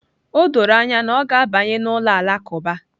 O doro anya na ọ ga-abanye n'ụlọ alakụba